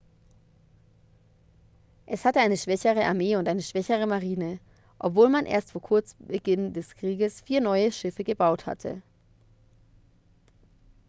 es hatte eine schwächere armee und eine schwächere marine obwohl man erst kurz vor beginn des krieges vier neue schiffe gebaut hatte